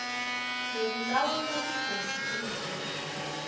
lekulawula tigodzi temvula